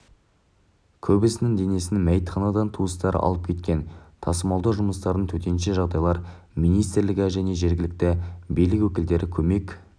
көбісінің денесін мәйітханадан туыстары алып кеткен тасымалдау жұмыстарына төтенше жағдайлар министрлігі мен жергілікті билік өкілдері көмек